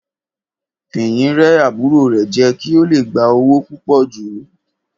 Fìyìn rẹ́ àbúrò rẹ̀ jẹ kí ó le gba owó púpò jù.